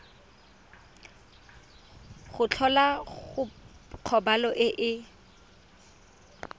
go tlhola kgobalo e e